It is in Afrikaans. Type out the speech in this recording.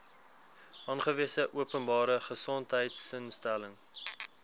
aangewese openbare gesondheidsinstelling